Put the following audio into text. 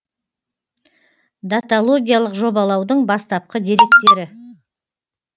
даталогиялық жобалаудың бастапқы деректері